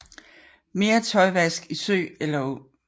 Mere tøjvask i sø eller å